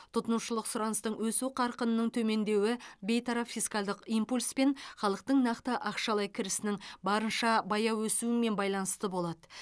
тұтынушылық сұраныстың өсу қарқынының төмендеуі бейтарап фискалдық импульс пен халықтың нақты ақшалай кірісінің барынша баяу өсуімен байланысты болады